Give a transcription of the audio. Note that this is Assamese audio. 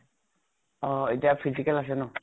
অ । এতিয়া physical আছে ন ?